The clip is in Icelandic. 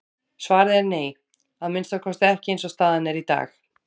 Svarið er nei, að minnsta kosti ekki eins og staðan er í dag.